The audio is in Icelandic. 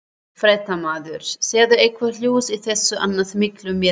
Fréttamaður: Sérðu eitthvert ljós í þessu annars mikla myrkri?